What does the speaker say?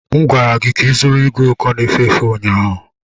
M gwara gị ka ịzụrụ igwe uko na-efe efe ụnyahụ!